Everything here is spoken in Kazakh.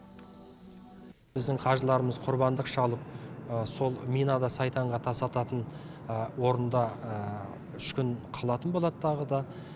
біздің қажыларымыз құрбандық шалып сол минада сайтанға тас ататын орында үш күн қалатын болады тағы да